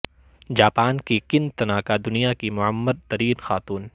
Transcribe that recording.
Japan کی Kane Tanaka دنیا کی معمر ترین خاتون